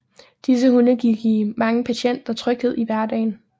Disse hunde kan give mange patienter tryghed i hverdagen